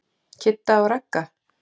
Kidda og Ragga?